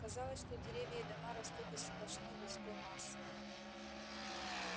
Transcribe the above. казалось что деревья и дома растут из сплошной людской массы